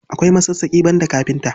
Akwai masassaƙi, banda kafinta.